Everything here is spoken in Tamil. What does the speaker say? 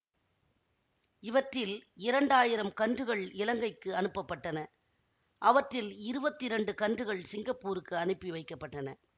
இவற்றில் இரண்டாயிரம் கன்றுகள் இலங்கைக்கு அனுப்பப் பட்டன அவற்றில் இருவத்தி இரண்டு கன்றுகள் சிங்கப்பூருக்கு அனுப்பி வைக்க பட்டன